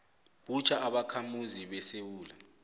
butjha ubakhamuzi besewula